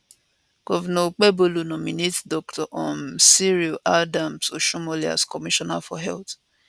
govnor okpebholo nominate dr um cyril adams oshiomhole as commissioner for health